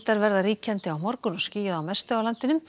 verða ríkjandi á morgun og skýjað að mestu á landinu